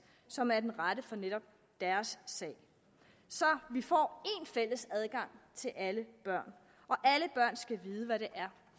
som er den rette for netop deres sag så vi får én fælles adgang til alle børn og alle børn skal vide hvad det er